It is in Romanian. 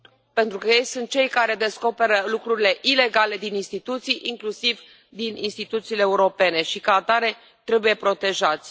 Pentru că ei sunt cei care descoperă lucrurile ilegale din instituții, inclusiv din instituțiile europene, și, ca atare, trebuie protejați.